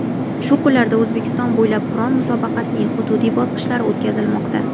Shu kunlarda O‘zbekiston bo‘ylab Qur’on musobaqasining hududiy bosqichlari o‘tkazilmoqda.